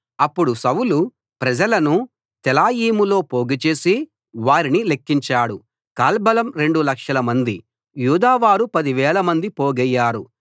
అప్పుడు సౌలు ప్రజలను తెలాయీములో పోగుచేసి వారిని లెక్కించాడు కాల్బలం రెండు లక్షలమంది యూదావారు పదివేలమంది పోగయ్యారు